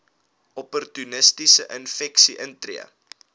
opportunistiese infeksies intree